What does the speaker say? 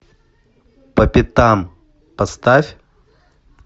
по пятам поставь